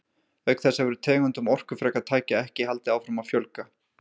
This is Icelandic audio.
Auk þess hefur tegundum orkufrekra tækja ekki haldið áfram að fjölga.